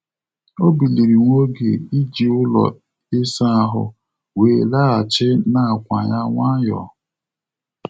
Ọ biliri nwa oge iji ụlọ ịsa ahụ, wee laghachi n'àkwà ya nwayọọ.